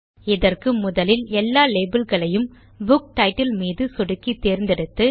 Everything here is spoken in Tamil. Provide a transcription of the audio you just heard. இதற்கு முதலில் எல்லா labelகளையும் புக் டைட்டில் மீது சொடுக்கி தேர்ந்தெடுத்து